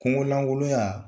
Kungo langolonya